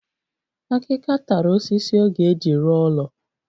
Akika tara osisi ọ ga-eji ruọ ulo